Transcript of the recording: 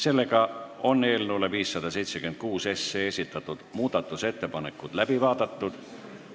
Kõik eelnõu 576 muudatusettepanekud on läbi vaadatud.